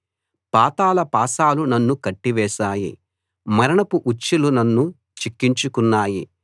పాతాళ పాశాలు నన్ను కట్టి వేశాయి మరణపు ఉచ్చులు నన్ను చిక్కించుకున్నాయి